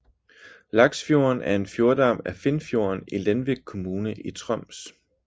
Laksfjorden er en fjordarm af Finnfjorden i Lenvik kommune i Troms